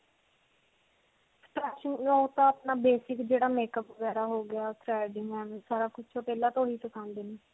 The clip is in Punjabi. ਅਪਣਾ basic ਜਿਹੜਾ makeup ਵਗੈਰਾ ਹੋ ਗਿਆ, threading ਸਾਰਾ ਕੁਝ ਓਹ ਪਹਿਲਾਂ ਤੋਂ ਹੀ ਸਿਖਾਉਂਦੇ ਨੇ.